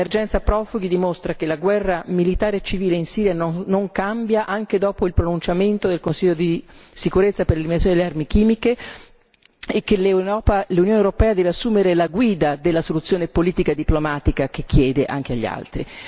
L'emergenza profughi dimostra che la guerra militare e civile in Siria non cambia anche dopo il pronunciamento del Consiglio di sicurezza per l'eliminazione delle armi chimiche e che l'Unione europea deve assumere la guida della soluzione politica e diplomatica che chiede anche agli altri.